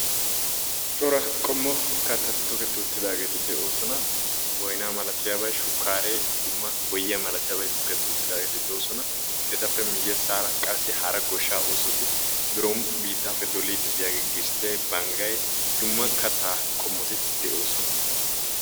Cora qommo kattati tokettiwuttidaageeti de'oosona. Boynaa malatiyabay, shukkaaree dumma boyyiya milatiyabay tokketti uttidaageeti doosona. Etappe miyyessaara qassi hara goshshaa oosoti biron biittaappe doliiddi de'iyagee gisttee, banggay dumma kattaa qommoti de'oosona.